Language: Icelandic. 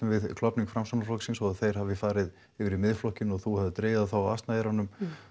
við klofning Framsóknarflokksins og að þeir hafi farið yfir í Miðflokkinn og þú hafir dregið þá á asnaeyrunum